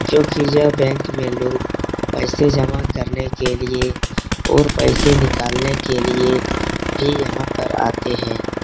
क्योंकि यह बैंक में लोग पैसे जमा करने के लिए और पैसे निकालने के लिए भी यहाँ पर आते हैं।